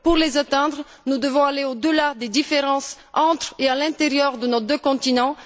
Pour les atteindre, nous devons aller au delà des différences entre et à l'intérieur de nos deux continents.